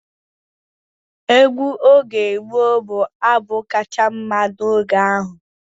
Egwu oge gboo bụ abụ kacha mma n'oge ahụ.